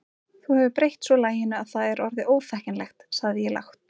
Þú hefur breytt svo laginu að það er orðið óþekkjanlegt sagði ég lágt.